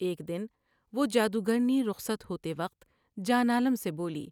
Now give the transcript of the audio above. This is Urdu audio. ایک دن وہ جادو گرنی رخصت ہوتے وقت جان عالم سے بولی ۔